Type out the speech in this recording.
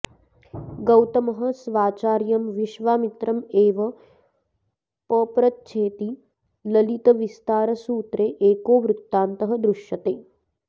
गौतमः स्वाचार्यं विश्वामित्रं एवं पप्रच्छेति ललितविस्तारसूत्रे एको वृत्तान्तः दृश्यते